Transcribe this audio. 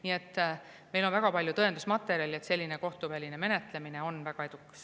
Nii et meil on väga palju tõendusmaterjali, et kohtuväline menetlemine on väga edukas.